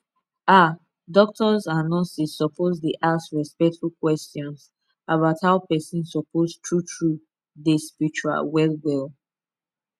ah doctors and nurses suppose dey ask respectful questions about how person suppose true true dey spitual well well